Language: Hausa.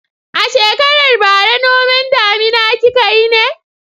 A shekarar bara noman damina kika yi ne?